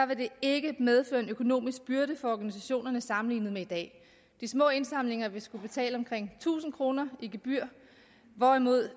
vil det ikke medføre en økonomisk byrde for organisationerne sammenlignet med i dag de små indsamlinger vil skulle betale omkring tusind kroner i gebyr hvorimod